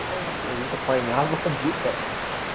Ãh, a gente apanhava direto.